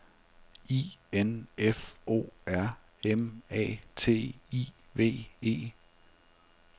I N F O R M A T I V E